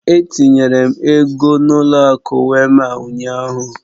Etinyere m ego n'ụlọ akụ Wéma ụnyahụ.